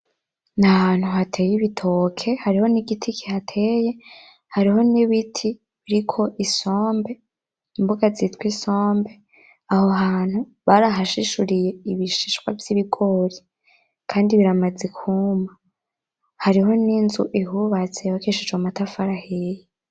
Ni ahantu hateye ibitoke, hariho n'igiti kihateye, hariho n'ibiti biriko isombe, imboga zitwa isombe, aho hantu barahashishuriye ibishishwa vy'ibigori kandi biramaze kwuma, hariho n'inzu ihubatse yubakishijwe amatafari ahiye.